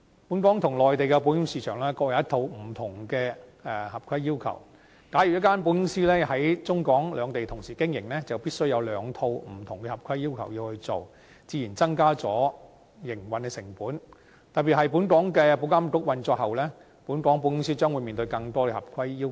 本港與內地的保險市場各有一套不同的合規要求，假如一間保險公司在中港兩地同時經營，就必須按照兩套不同的合規要求去做，自然會增加營運成本，特別是本港保險業監管局運作後，本港保險公司將面對更多合規要求。